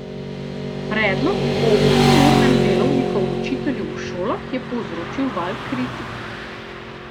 Predlog o osemurnem delovniku učiteljev v šolah je povzročil val kritik.